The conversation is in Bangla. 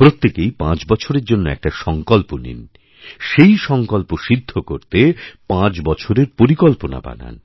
প্রত্যেকেইপাঁচ বছরের জন্য একটা সংকল্প নিন সেই সংকল্প সিদ্ধ করতে পাঁচ বছরের পরিকল্পনাবানান